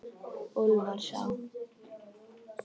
Úlfarsá